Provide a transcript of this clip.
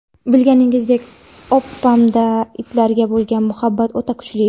Bilganingizdek opamda itlarga bo‘lgan muhabbat o‘ta kuchli.